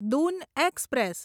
Doon express